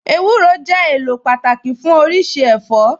Ewúro jẹ́ èlò pàtàkì fún oríṣi ẹ̀fọ́